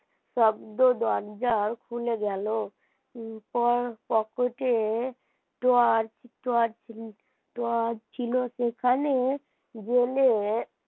শব্দে দরজা খুলে গেল পকেটে Torch torch torch ছিল সেখানে জেলে